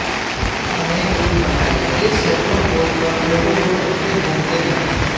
अनेक रूप बनाए ये सैकड़ों कोस तक लोगों को ठगते घूमते हैं